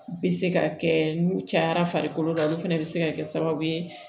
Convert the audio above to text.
Bɛ se ka kɛ n'u cayara farikolo la olu fɛnɛ bɛ se ka kɛ sababu ye